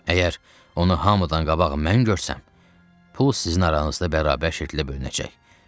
Əgər onu hamıdan qabaq mən görsəm, pul sizin aranızda bərabər şəkildə bölünəcək.